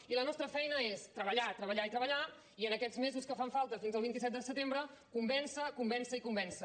i la nostra feina és treballar treballar i treballar i en aquests mesos que fan falta fins al vint set de setembre convèncer convèncer i convèncer